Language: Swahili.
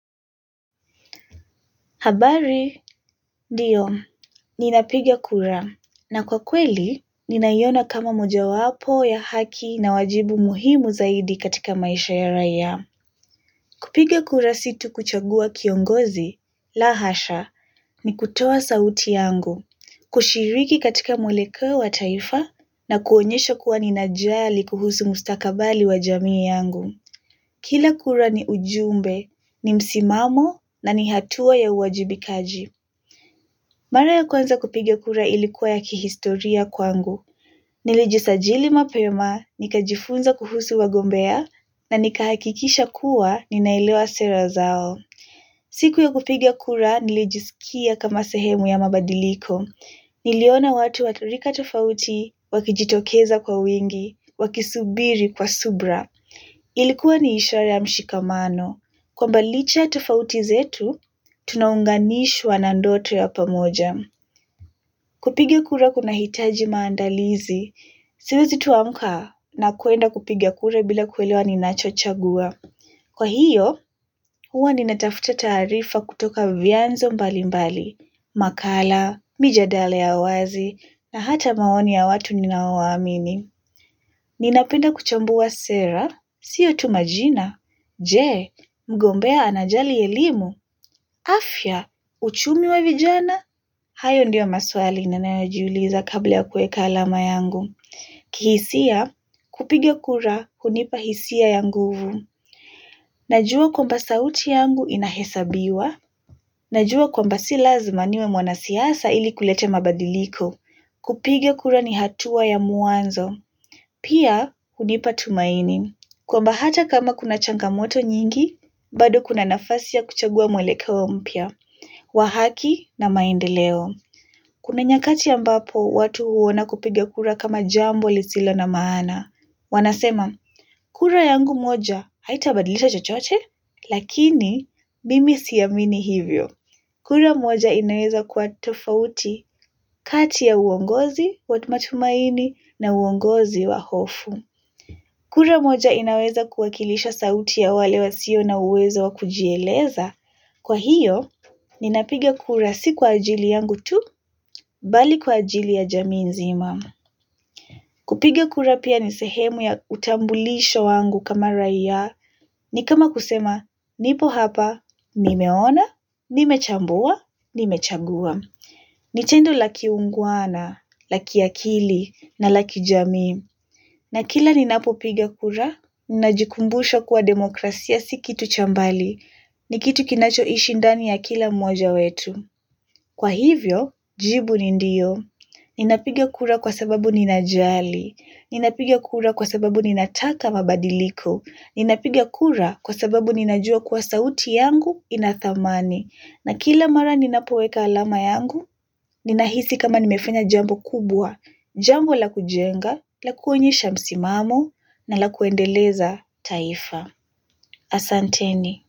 Habari, ndio, ninapiga kura, na kwa kweli, ninaiona kama moja wapo ya haki na wajibu muhimu zaidi katika maisha ya raia. Kupiga kura si tu kuchagua kiongozi, la hasha, ni kutoa sauti yangu, kushiriki katika mwelekeo wa taifa, na kuonyesha kuwa ninajali kuhusu mustakabali wa jamii yangu. Kila kura ni ujumbe, ni msimamo, na ni hatua ya uwajibikaji. Mara ya kwanza kupigia kura ilikuwa ya kihistoria kwangu. Nilijisajili mapema, nikajifunza kuhusu wagombea, na nikahakikisha kuwa ninailewa sera zao. Siku ya kupigia kura nilijisikia kama sehemu ya mabadiliko. Niliona watu wakirika tofauti, wakijitokeza kwa wingi, wakisubiri kwa subra. Ilikuwa ni ishara ya mshikamano. Kwamba licha tofauti zetu, tunaunganishwa na ndoto ya pamoja. Kupigia kura kuna hitaji maandalizi. Siwezi tu amka na kuenda kupigia kura bila kuelewa ni nachochagua. Kwa hiyo, huwa ni natafuta taarifa kutoka vianzo mbalimbali. Makala, mijadala ya wazi, na hata maoni ya watu ninaowa amini. Ni napenda kuchambua sera, siyo tumajina, jee, mgombea anajali elimu, afya, uchumi wa vijana, hayo ndio maswali na nayo jiuliza kabla ya kueka alama yangu. Kihisia, kupigia kura, hunipa hisia ya nguvu. Najua kwamba sauti yangu inahesabiwa, najua kwamba si lazima niwe mwana siasa ili kulete mabadiliko. Kupigia kura ni hatua ya mwanzo, pia hunipa tumaini. Kwamba hata kama kuna changamoto nyingi, bado kuna nafasi ya kuchagua mwelekeo mpya, wahaki na maendeleo. Kuna nyakati ambapo watu huona kupigia kura kama jambo lisilo na maana. Wanasema, kura yangu moja haitabadilisa chochote? Lakini, mimi si amini hivyo. Kura moja inaweza kwa tofauti kati ya uongozi wa matumaini na uongozi wa hofu. Kura moja inaweza kuwakilisha sauti ya wale wa sio na uwezo wa kujieleza. Kwa hiyo, ninapiga kura si kwa ajili yangu tu, bali kwa ajili ya jamii nzima. Kupiga kura pia ni sehemu ya utambulisho wangu kama rai ya ni kama kusema, nipo hapa, nimeona, nimechambua, nimechagua. Ni tendo la kiungwana, la kiakili na lakijamii. Na kila ninapopiga kura, ninajikumbusha kuwa demokrasia si kitu chambali, ni kitu kinacho ishi ndani ya kila mmoja wetu. Kwa hivyo, jibu ni ndio. Ninapiga kura kwa sababu ninajali. Ninapiga kura kwa sababu ninataka mabadiliko. Ninapiga kura kwa sababu ninajua kuwa sauti yangu inathamani. Na kila mara ninapoweka alama yangu, ninahisi kama nimefanya jambo kubwa, jambo la kujenga, la kuonyesha msimamo, na la kuendeleza taifa. Asanteni.